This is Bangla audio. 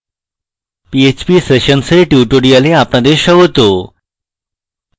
php সেশনসের এই tutorial আপনাদের স্বাগত